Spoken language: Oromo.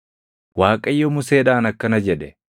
Waaqayyo Museedhaan akkana jedhe;